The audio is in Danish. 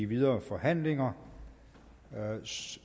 videre forhandlinger